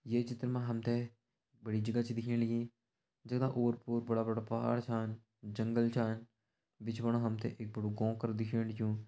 ये चित्र मा हम त बड़ी जगह दिखेण लगीं जगदा ओर पोर बड़ा बड़ा पहाड़ छन जंगल छन बिच फुंड हम त एक बड़ू गों करं दिखेण लग्युं।